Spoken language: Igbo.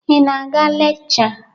Ị na-aga lekchọ?